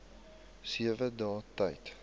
sewe dae tyd